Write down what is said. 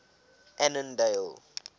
annandale